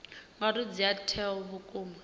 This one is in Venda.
ngauri dzi ea mutheo vhukuma